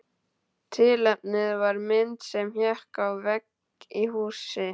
Tilefnið var mynd sem hékk á vegg í húsi.